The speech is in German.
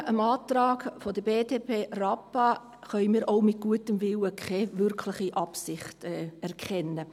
Hingegen können wir im Antrag BDP/Rappa auch mit gutem Willen keine wirkliche Absicht erkennen.